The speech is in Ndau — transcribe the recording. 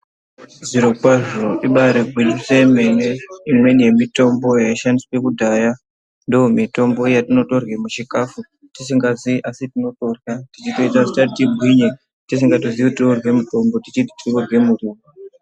Zvirokwazvo, ibairigwinyiso yemene, imweni yemitombo yaishandiswa kudhaya ndomitombo yatinotorye muchikafu tisingaziyi, asi tinotorya. Ndiyo inotoita kuti tigwinye, tisikatoziyi kuti tirikurye mitombo teiti tirikurye muriwo.